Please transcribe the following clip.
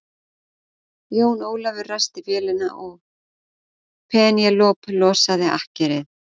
Jón Ólafur ræsti vélina og Penélope losaði akkerið.